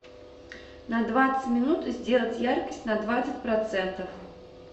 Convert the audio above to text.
на двадцать минут сделать яркость на двадцать процентов